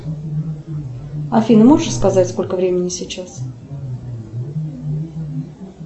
афина можешь сказать сколько времени сейчас